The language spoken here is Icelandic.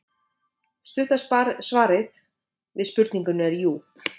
Stutta svarið við spurningunni er jú.